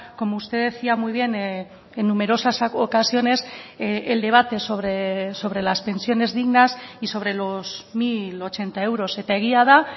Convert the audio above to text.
como usted decía muy bien en numerosas ocasiones el debate sobre las pensiones dignas y sobre los mil ochenta euros eta egia da